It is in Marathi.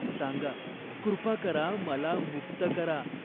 सांगा, कृपा करा. मला मुक्त करा."